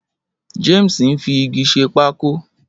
James ń fi igi ṣe pákó.